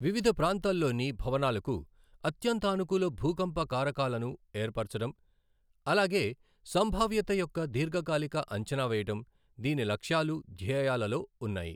వివిధ ప్రాంతాల్లోని భవనాలకు అత్యంతానుకూల భూకంప కారకాలను ఏర్పరచడం, అలాగే సంభావ్యత యొక్క దీర్ఘకాలిక అంచనా వేయడం దీని లక్ష్యాలూ ధ్యేయాలలో ఉన్నాయి.